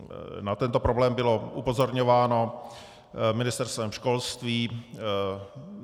Na tento problém bylo upozorňováno Ministerstvem školství.